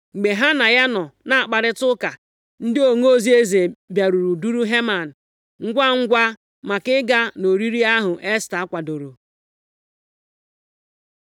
Mgbe ha na ya nọ na-akparịta ụka, ndị onozi eze bịaruru duru Heman ngwangwa maka ịga nʼoriri ahụ Esta kwadoro.